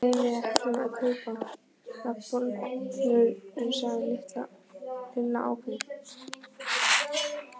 Nei, við ætlum að kaupa bollur sagði Lilla ákveðin.